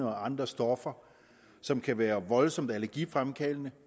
og andre stoffer som kan være voldsomt allergifremkaldende